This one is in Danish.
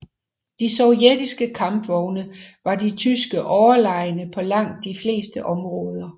De sovjetiske kampvogne var de tyske overlegne på langt de fleste områder